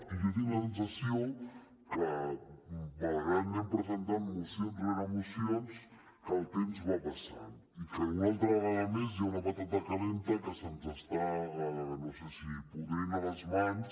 i jo tinc la sensació que malgrat que anem presentant mocions rere mocions el temps va passant i que una altra vegada més hi ha una patata calenta que se’ns està no sé si podrint a les mans